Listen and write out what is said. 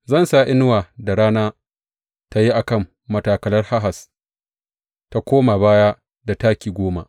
Zan sa inuwar da rana ta yi a kan matakalar Ahaz ta koma baya da taki goma.’